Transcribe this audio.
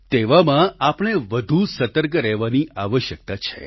તેવામાં આપણે વધુ સતર્ક રહેવાની આવશ્યકતા છે